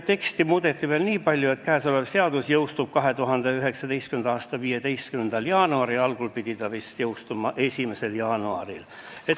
Teksti muudeti veel nii palju, et seadus jõustub 2019. aasta 15. jaanuaril, algul pidi see jõustuma 1. jaanuaril.